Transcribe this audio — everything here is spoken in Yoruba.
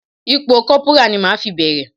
Ipò Kọ́púrà ni màá fi bẹ̀rẹ̀.